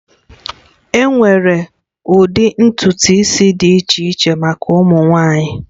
Enwere ụdị ntutu isi dị iche iche maka ụmụ nwanyị